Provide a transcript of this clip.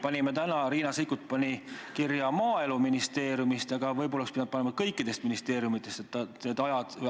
Panime täna – Riina Sikkut pani – küsimuse teemana kirja "Maaeluministeerium", aga võib-olla oleks pidanud panema "Kõik ministeeriumid".